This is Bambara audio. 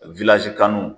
kanu